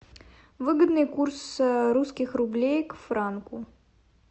выгодный курс русских рублей к франку